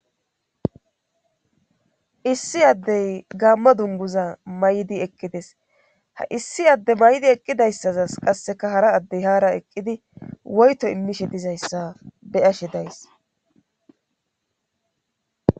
Issi addey gaamma dunguza may'di eqqides ha issi adde may'di eqqidayssazas qasseka hara addey haara eqqidi woyto immishe dizayssa beyashe days.